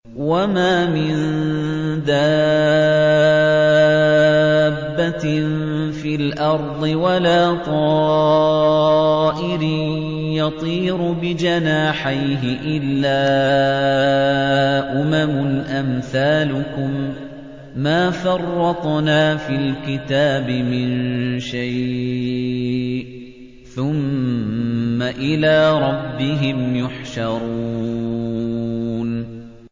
وَمَا مِن دَابَّةٍ فِي الْأَرْضِ وَلَا طَائِرٍ يَطِيرُ بِجَنَاحَيْهِ إِلَّا أُمَمٌ أَمْثَالُكُم ۚ مَّا فَرَّطْنَا فِي الْكِتَابِ مِن شَيْءٍ ۚ ثُمَّ إِلَىٰ رَبِّهِمْ يُحْشَرُونَ